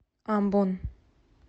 амбон